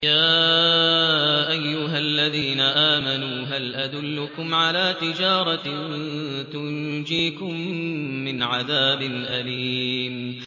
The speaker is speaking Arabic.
يَا أَيُّهَا الَّذِينَ آمَنُوا هَلْ أَدُلُّكُمْ عَلَىٰ تِجَارَةٍ تُنجِيكُم مِّنْ عَذَابٍ أَلِيمٍ